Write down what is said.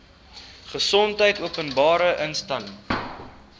gesondheid openbare inligting